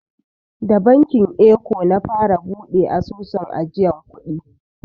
Da bankin eko na fara buɗe asusun ajiyan kuɗi.